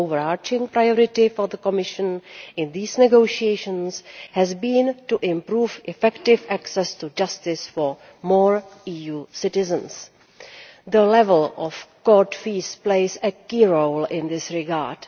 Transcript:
The overarching priority for the Commission in these negotiations has been to improve effective access to justice for more EU citizens. The level of court fees plays a key role in this regard.